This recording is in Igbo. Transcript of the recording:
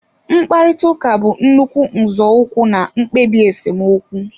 Mkparịta ụka bụ nnukwu nzọụkwụ na mkpebi esemokwu